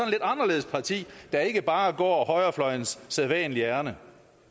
lidt anderledes parti der ikke bare går højrefløjens sædvanlige ærinde